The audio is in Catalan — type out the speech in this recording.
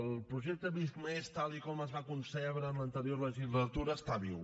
el projecte visc+ tal com es va concebre en l’anterior legislatura està viu